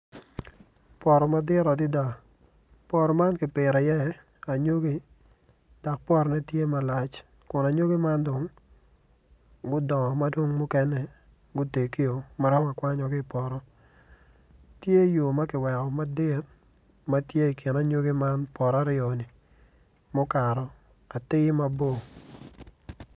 Poto madit adada poto man ki pito i iye anyogi dok potone tye malac kun anyogi man dong gudongo madong mukene gutegi maromo akwanya ki ipoto tye yo ma kiweko madit matye ikin anyogi man poto aryoni mukato atir mabor